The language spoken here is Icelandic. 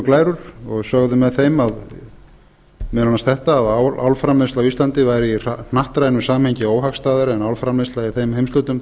glærur og sögðu með þeim meðal annars þetta að álframleiðsla á íslandi væri í hnattrænu samhengi óhagstæðara en álframleiðsla í þeim heimshlutum þar sem bæði